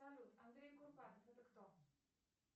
салют андрей курпатов это кто